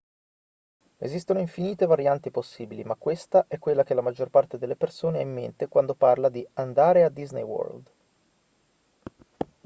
esistono infinite varianti possibili ma questa è quella che la maggior parte delle persone ha in mente quando parla di andare a disney world